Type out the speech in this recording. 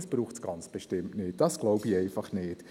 Daran zweifle ich nicht.